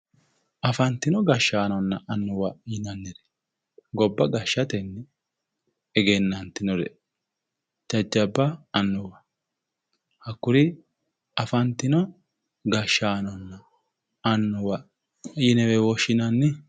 Afantino gazhshaanonna annuwa yinanniri gobba gashshatenni egennanginore jajjabba annuwa hakkuri afantino gashshaanonna annuwa yinewe woshshinanni